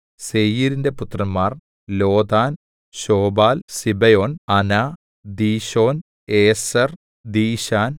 സേയീരിന്റെ പുത്രന്മാർ Lotan Shobal Zibeon Anah Dishon Ezer ദീശാൻ